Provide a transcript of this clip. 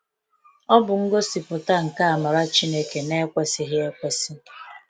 Ọ bụ ngosipụta nke amara Chineke na-ekwesịghị ekwesi.